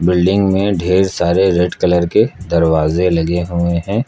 Building में ढेर सारे रेड कलर के दरवाजे लगे हुए हैं।